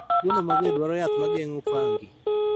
Tuono mager dwaro yath ma geng�o fungi.